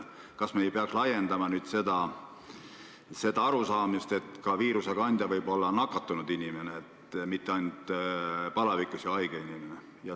Kas me ei peaks seda arusaamist nüüd laiendama ja ütlema, et viirust võib edasi kanda ka lihtsalt nakatunud inimene, mitte ainult palavikus haige inimene?